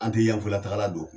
An tɛ Yanfoyila tagala don.